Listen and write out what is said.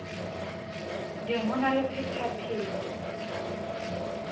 ding ho na le phetapheto